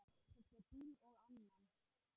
Keypti bíl og annan.